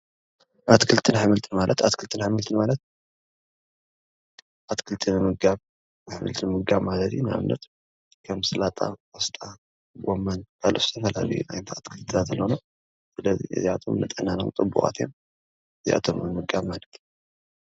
ኣትክልትን ኣሕምልትን ኣትክልትን ኣሕምልትን ማለት ኣትክልቲ ምምጋብ ማለት አዩ ንኣብነትከም ሰላማ፣ ቆስጣ ፣ ጎመን ካልኦት ዝተፈላለዩ ዓይነታት ተክልታት ኣለው እዚኣቶም ነጥዕናና ውን ፅቡቃት እዮም ።